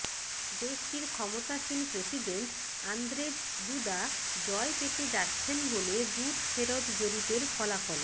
দেশটির ক্ষমতাসীন president Andrzej Duda জয় পেতে যাচ্ছেন বলে বুথ ফেরত জরিপের ফলাফলে